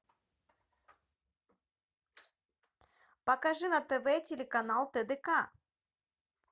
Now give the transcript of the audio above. покажи на тв телеканал тдк